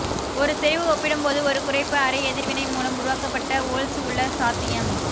ஒரு செறிவு ஒப்பிடும்போது ஒரு குறைப்பு அரை எதிர்வினை மூலம் உருவாக்கப்பட்ட வோல்ட்ஸ் உள்ள சாத்தியம்